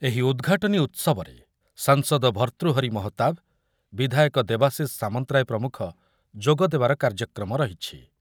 ଏହି ଉଦ୍‌ଘାଟନୀ ଉତ୍ସବରେ ସାଂସଦ ଭର୍ତ୍ତୃହରି ମହତାବ୍, ବିଧାୟକ ଦେବାଶିଷ ସାମନ୍ତରାୟ ପ୍ରମୁଖ ଯୋଗଦେବାର କାର୍ଯ୍ୟକ୍ରମ ରହିଛି।